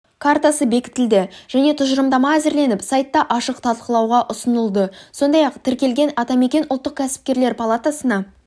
картасы бекітілді және тұжырымдама әзірленіп сайтта ашық талқылауға ұсынылды сондай-ақ тіркелген атамекен ұлттық кәсіпкерлер палатасына